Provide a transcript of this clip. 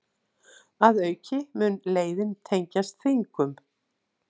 Að auki mun leiðin tengjast Þingum